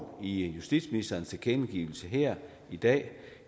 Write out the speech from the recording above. i justitsministerens tilkendegivelse her i dag